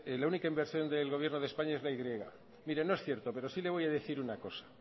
la única inversión del gobierno de españa es la y mire no es cierto pero sí le voy a decir una cosa